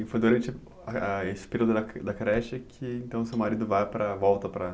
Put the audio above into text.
E foi durante esse período da creche que então seu marido volta para para